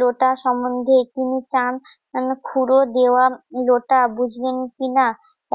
লোটা সম্বন্ধে তিনি চান খুড়ো দেওয়া লোটা বুঝলেন কিনা